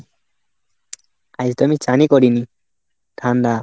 আজ তো আমি চানই করিনি, ঠান্ডা।